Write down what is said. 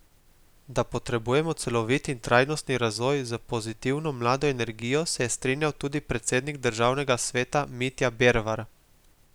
Da potrebujemo celovit in trajnostni razvoj z pozitivno, mlado energijo, se je strinjal tudi predsednik državnega sveta Mitja Bervar.